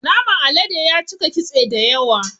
Naman alade yacika kitse dayawa